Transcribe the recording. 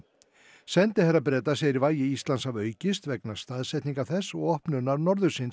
sendiherra Breta segir vægi Íslands hafa aukist vegna staðsetningar þess og opnunar norðursins